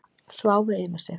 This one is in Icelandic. Sváfu yfir sig